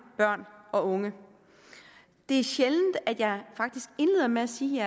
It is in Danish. børn og unge det er sjældent at jeg faktisk indleder med at sige